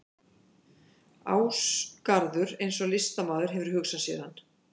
Ásgarður eins og listamaður hefur hugsað sér hann.